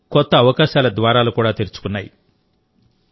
మనకు కొత్త అవకాశాల ద్వారాలు కూడా తెరుచుకున్నాయి